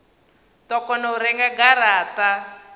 do kona u renga garata